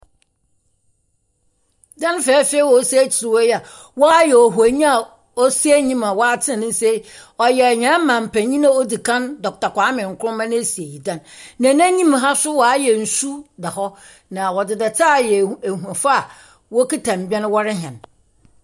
Dan fɛɛfɛw yi a osi ekyir hɔ yi a wɔayɛ ohonyi a osi enyim a ɔatsen ne nsa yi yɛ hɛn ɔmampanyin a odzi kan Dr Kwame Nkrumah n’esiei dan. Na n’enyim ha so wɔayɛ nsu da hɔ, na wɔdze dɛtse ayɛ ahu ahuafo a wɔrehɛn mbɛn.